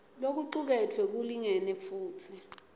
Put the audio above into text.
lokucuketfwe kulingene futsi